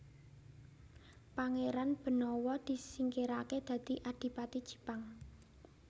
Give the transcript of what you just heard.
Pangéran Benawa disingkiraké dadi Adipati Jipang